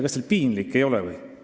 Kas teil piinlik ei ole?